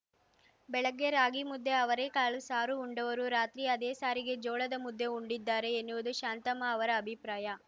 ಬೆಳಗ್ಗೆ ರಾಗಿಮುದ್ದೆ ಅವರೇ ಕಾಳು ಸಾರು ಉಂಡವರು ರಾತ್ರಿ ಅದೇ ಸಾರಿಗೆ ಜೋಳದ ಮುದ್ದೆ ಉಂಡಿದ್ದಾರೆ ಎನ್ನುವುದು ಶಾಂತಮ್ಮ ಅವರ ಅಭಿಪ್ರಾಯ